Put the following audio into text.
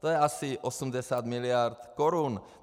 To je asi 80 miliard korun.